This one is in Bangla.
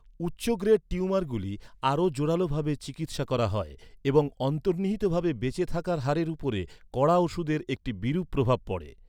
উচ্চ গ্রেড টিউমারগুলি আরও জোরালো ভাবে চিকিৎসা করা হয় এবং অন্তর্নিহিত ভাবে বেঁচে থাকার হারের উপরে কড়া ওষুধের একটি বিরূপ প্রভাব পড়ে।